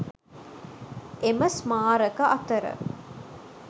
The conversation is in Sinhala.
එම ස්මාරක අතර